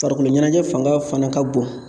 Farikoloɲɛnajɛ fanga fana ka bon